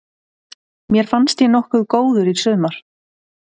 Mér fannst ég nokkuð góður í sumar.